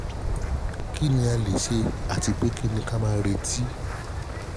kí ni a le ṣe àti pé pé kí ní ka máa retí?